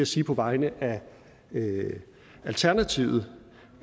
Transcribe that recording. sige på vegne af alternativet